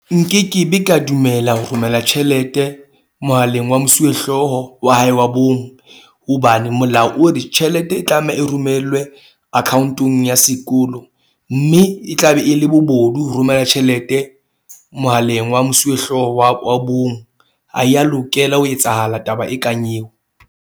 Nkekebe ka dumela ho romela tjhelete mohaleng wa mosuwehlooho wa hae wa bong. Hobane molao o re tjhelete e tlameha e romellwe account-ong ya sekolo. Mme e tla be e le bobodu ho romela tjhelete mohaleng wa mosuwehlooho wa wa bong a ya lokela ho etsahala taba e kang eo.